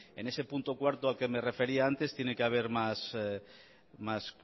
en ese punto cuatro al que me refería antes tiene que haber más